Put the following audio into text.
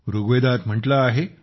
ऋग्वेदात म्हटले आहे